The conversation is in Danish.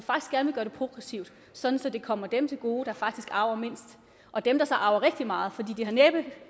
at vi progressivt sådan at det kommer dem til gode der faktisk arver mindst og dem der så arver rigtig meget for de har næppe